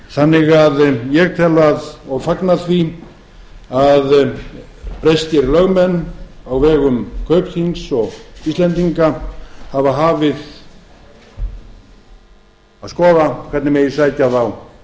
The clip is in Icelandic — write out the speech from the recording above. þannig að ég tel og fagna því að breskir lögmenn á vegum kaupþings og íslendinga hafa hafið að skoða hvernig megi sækja þá til